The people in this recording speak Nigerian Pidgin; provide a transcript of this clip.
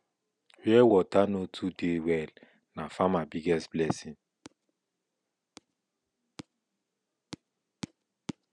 where water no too dey well na farmer biggest blessing